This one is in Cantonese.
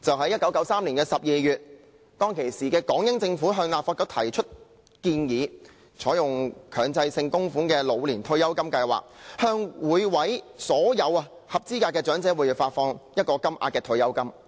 1993年12月，當時的港英政府向立法局提出建議，採用強制性供款的老年退休金計劃，向所有合資格的長者每月發放固定金額的退休金。